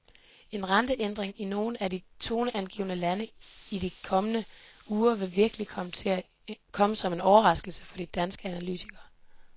En renteændring i nogle af de toneangivende lande i de kommende uger vil virkelig komme som en overraskelse for de danske analytikere.